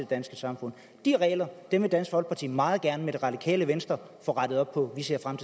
danske samfund de regler vil dansk folkeparti meget gerne sammen med det radikale venstre få rettet op på vi ser frem